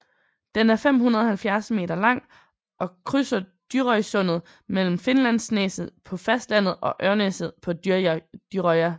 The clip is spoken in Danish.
Den er 570 meter lang og krydser Dyrøysundet mellem Finnlandsneset på fastlandet og Ørnneset på Dyrøya